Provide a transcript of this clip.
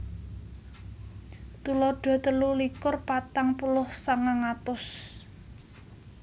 Tuladha telu likur patang puluh sangang atus